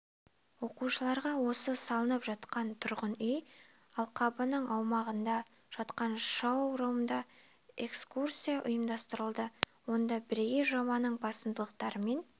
оқушыларға осы салынып жатқан тұрғын үй алқабының аумағында жатқан шоу-румда экскурсия ұйымдастырылды онда бірегей жобаның басымдықтарымен